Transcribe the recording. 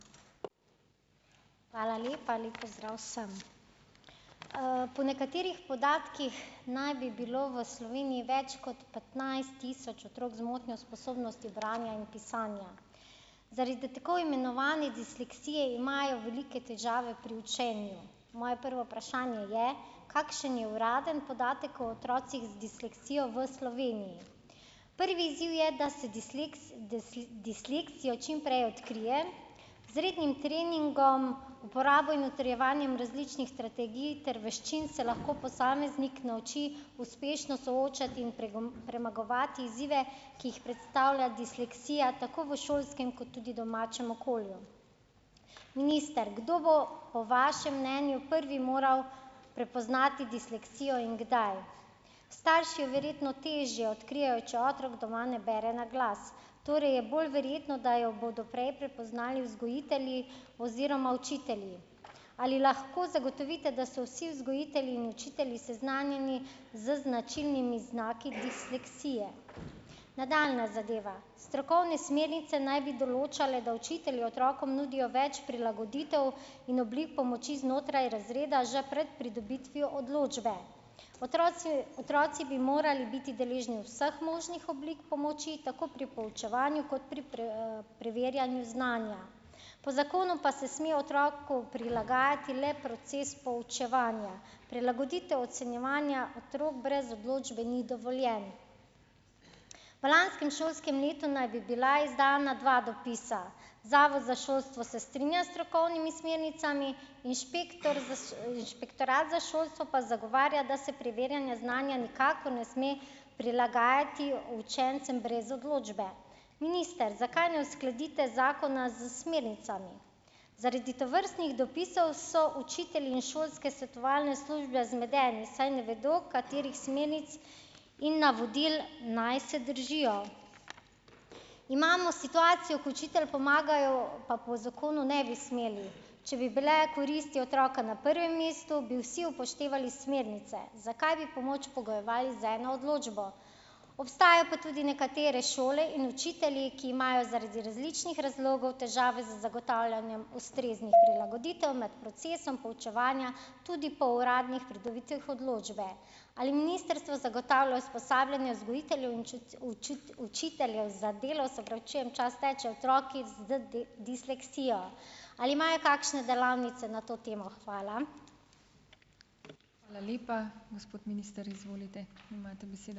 Hvala lepa. Lep pozdrav vsem! Po nekaterih podatkih naj bi bilo v Sloveniji več kot petnajst tisoč otrok z motnjo sposobnosti branja in pisanja. Zaradi tako imenovane disleksije imajo velike težave pri učenju. Moje prvo vprašanje je: Kakšen je uradni podatek o otrocih z disleksijo v Sloveniji? Prvi izziv je, da se disleksijo čim prej odkrije, z rednim treningom, uporabo in utrjevanjem različnih strategij ter veščin se lahko posameznik nauči uspešno soočati in premagovati izzive, ki jih predstavlja disleksija tako v šolskem kot tudi domačem okolju. Minister. Kdo bo po vašem mnenju prvi moral prepoznati disleksijo in kdaj? Starši verjetno težje odkrijejo, če otrok doma ne bere naglas. Torej je bolj verjetno, da jo bodo prej prepoznali vzgojitelji oziroma učitelji. Ali lahko zagotovite, da so vsi vzgojitelji in učitelji seznanjeni z značilnimi znaki disleksije? Nadaljnja zadeva. Strokovne smernice naj bi določale, da učitelji otrokom nudijo več prilagoditev in oblik pomoči znotraj razreda že pred pridobitvijo odločbe. otroci bi morali biti deležni vseh možnih oblik pomoči tako pri poučevanju kot pri preverjanju znanja. Po zakonu pa se sme otroku prilagajati le proces poučevanja. Prilagoditev ocenjevanja otrok brez odločbe ni dovoljen. V lanskem šolskem letu naj bi bila izdana dva dopisa. Zavod za šolstvo se strinja s strokovnimi smernicami, Inšpektor. Inšpektorat za šolstvo pa zagovarja, da se preverjanje znanja nikakor ne sme prilagajati učencem brez odločbe. Minister, zakaj ne uskladite zakona s smernicami? Zaradi tovrstnih dopisov so učitelji in šolske svetovalne službe zmedeni, saj ne vedo, katerih smernic in navodil naj se držijo. Imamo situacijo, ko učitelj pomagajo, pa po zakonu ne bi smeli. Če bi bile koristi otroka na prvem mestu, bi vsi upoštevali smernice. Zakaj bi pomoč pogojevali z eno odločbo? Obstajajo pa tudi nekatere šole in učitelji, ki imajo zaradi različnih razlogov težave z zagotavljanjem ustreznih prilagoditev med procesom poučevanja, tudi po uradnih pridobitvah odločbe. Ali ministrstvo zagotavlja usposabljanje vzgojiteljev in učiteljev za delo - se opravičujem, čas teče, otroki z disleksijo? Ali imajo kakšne delavnice na to temo? Hvala.